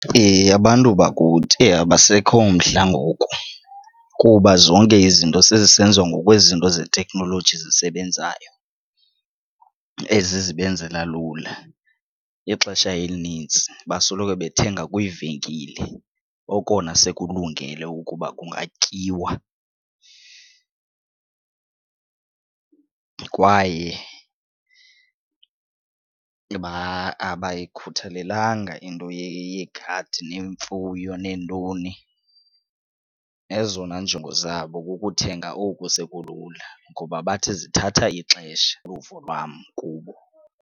Heh, abantu bakuthi! Heh, abasekho mdla ngoku kuba zonke izinto sezisenziwa ngokwezinto zeteknoloji zisebenzayo, ezi zibenzela lula. Ixesha elinintsi basoloko bethenga kwiivenkile okona sekulungele ukuba kungatyiwa kwaye abayikhuthalelanga into yegadi neemfuyo neentoni. Ezona njongo zabo kukuthenga oku sekulula ngoba bathi zithatha ixesha, luvo lwam kubo.